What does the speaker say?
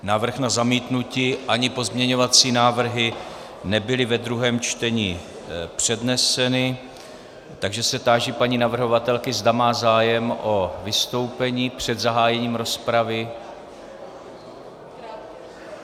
Návrh na zamítnutí ani pozměňovací návrhy nebyly ve druhém čtení předneseny, takže se táži paní navrhovatelky, zda má zájem o vystoupení před zahájením rozpravy.